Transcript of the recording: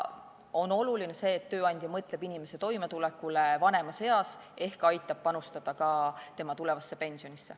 Oluline on see, et tööandja mõtleb inimese toimetulekule vanemas eas ehk aitab panustada ka tema tulevasse pensionisse.